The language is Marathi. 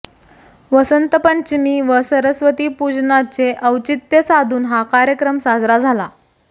वसंत पंचमी व सरस्वती पूजनाचे अौचित्य साधून हा कार्यक्रम साजरा झाला